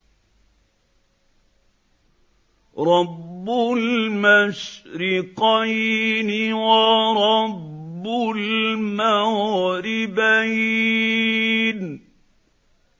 رَبُّ الْمَشْرِقَيْنِ وَرَبُّ الْمَغْرِبَيْنِ